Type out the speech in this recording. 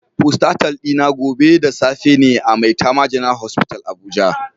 Postatal dina gobe da safe ne a maitama general hospital abuja